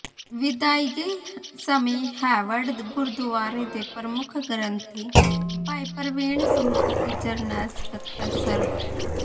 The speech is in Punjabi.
ਵਿਦਾਇਗੀ ਸਮੇਂ ਹੇਵਰਡ ਗੁਰਦੁਆਰੇ ਦੇ ਪ੍ਰਮੁੱਖ ਗ੍ਰੰਥੀ ਭਾਈ ਪ੍ਰਵੀਨ ਸਿੰਘ ਅਤੇ ਜਨਰਲ ਸਕੱਤਰ ਸ੍ਰ